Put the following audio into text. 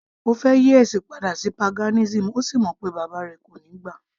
Ó fẹ́ yí ẹ̀sìn padà sí paganism,ó sì mọ̀ pé bàbá rẹ̀ kò níí gbà